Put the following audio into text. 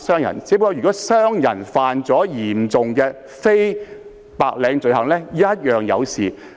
如商人犯下嚴重的非白領罪行，亦無法獲得豁免。